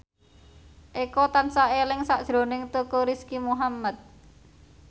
Eko tansah eling sakjroning Teuku Rizky Muhammad